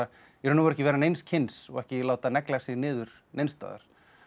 í raun og veru ekki vera neins kyns og ekki láta negla sig niður neins staðar